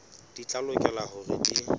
di tla lokela hore di